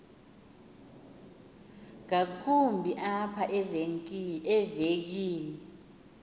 ngakumbi apha evekini